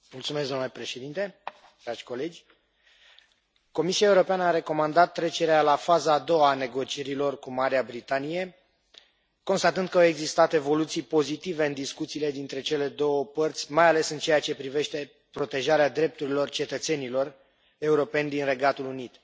Domnule președinte, dragi colegi, Comisia Europeană a recomandat trecerea la faza a doua a negocierilor cu Marea Britanie, constatând că au existat evoluții pozitive în discuțiile dintre cele două părți, mai ales în ceea ce privește protejarea drepturilor cetățenilor europeni din Regatul Unit.